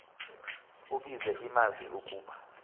ubize iimazi ukuba